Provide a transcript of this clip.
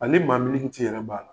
Ani maa yɛrɛ b'a la.